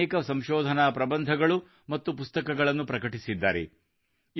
ಅವರು ಅನೇಕ ಸಂಶೋಧನಾ ಪ್ರಬಂಧಗಳು ಮತ್ತು ಪುಸ್ತಕಗಳನ್ನು ಪ್ರಕಟಿಸಿದ್ದಾರೆ